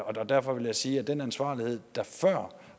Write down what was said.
og derfor vil jeg sige at den ansvarlighed der før